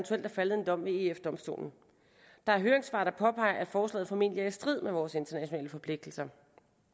faldet en dom ved eu domstolen der er høringssvar der påpeger at forslaget formentlig er i strid med vores internationale forpligtelser